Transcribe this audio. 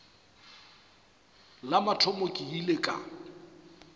la mathomo ke ile ka